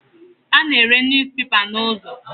A na-ere News papers n'ụzọ.